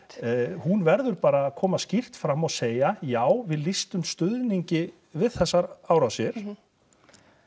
hún verður bara að koma skýrt fram og segja já við lýstum stuðningi við þessar árásir mhm